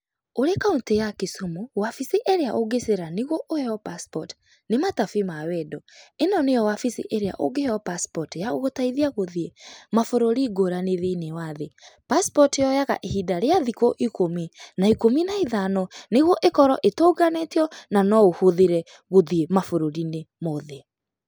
Ũrĩ kauntĩ ya kisumu, wabici ĩrĩa ũngĩcera nĩguo ũheo passport nĩ matabĩ ma wendo. ĩno nĩyo wabici ĩrĩa ũngĩheo passport ya gũgũteithia gũthĩĩ mabũrũrĩ ngũrani thĩinĩ wa thĩ. Passport yoyaga ihinda rĩa thikũ ikũmi na ikũmi na ithano nĩguo ĩkorwo ĩtũnganĩtio na no ũhũthĩre gũthiĩ mabũrũri mothe.